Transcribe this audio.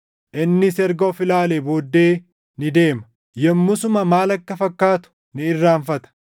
innis erga of ilaalee booddee ni deema; yommusuma maal akka fakkaatu ni irraanfata.